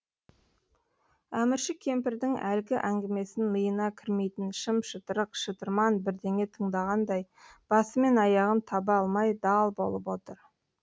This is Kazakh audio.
әмірші кемпірдің әлгі әңгімесін миына кірмейтін шым шытырық шытырман бірдеңе тыңдағандай басы мен аяғын таба алмай дал болып отыр